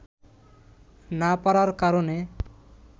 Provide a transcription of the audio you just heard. না পারার কারণে